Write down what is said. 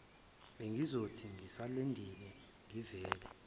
bengizothi ngisalindeni ngivele